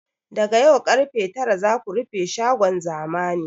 Daga yau karfe tara za ku rufe shagon zamani!